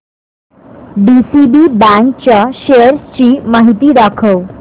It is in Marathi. डीसीबी बँक च्या शेअर्स ची माहिती दाखव